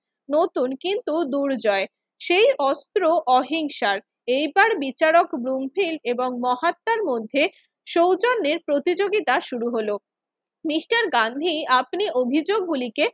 নতুন কিন্তু দুর্জয়। সেই অস্ত্র অহিংসার। এবার বিচারক ব্রুমফিল্ড এবং মহাত্মার মধ্যে সৌজন্যের প্রতিযোগিতা শুরু হলো। মিস্টার গান্ধী আপনি অভিযোগ গুলিকে